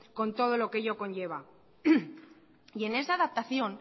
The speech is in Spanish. con todo lo que ello conlleva y en esa adaptación